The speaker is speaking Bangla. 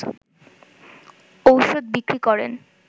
ওষুধ বিক্রি করেন